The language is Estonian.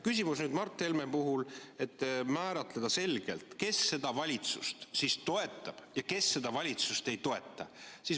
Küsimus, mida Mart Helme ette pani, et määratleda selgelt, kes seda valitsust siis toetab ja kes seda valitsust ei toeta.